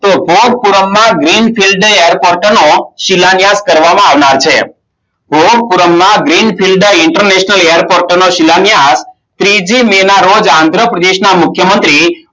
શિલાયત કરવામાં આવનાર છે આંધ્રપ્રદેશ ના મુખ્યમંત્રી